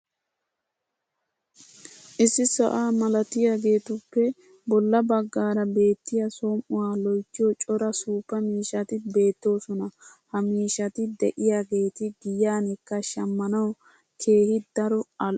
issi sa"aa malattiyaageetuppe bola bagaara beetiya som'uwaa loyttiyo cora suuppa miishshati beetoosona. ha miishshati diyaageeti giyankka shammanawu keehi daro al'o